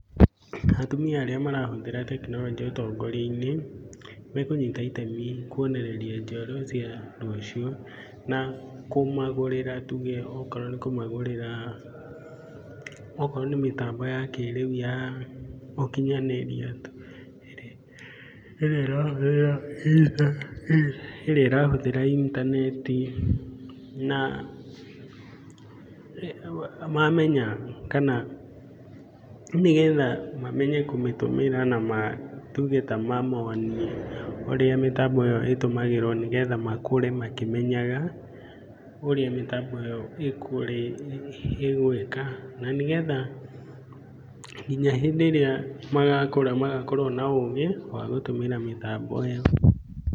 Atumia arĩa marahũthĩra tekinoronjĩ ũtongoria-inĩ me kũnyita itemi kuonereria njiarwa cia rũciũ na kũmagũrĩra tuge okorwo nĩ kũmagũrĩra okorwo nĩ mitambo ya kĩrĩu ya ũkinyanĩria çirĩa ĩrahũthĩra intaneti. Na mamenya kana nĩ getha mamenye kũmĩtũmĩra na ma tuge ta mamonie ũrĩa mĩtambo ĩyo ĩtũmagĩrwo nĩ getha makũre makĩmenyaga ũrĩa mĩtambo ĩyo ĩgwĩka. Na nĩ getha nginya hĩndĩ ĩrĩa magakũra magakorwo na ũgĩ wa gũtũmĩra mĩtambo ĩyo.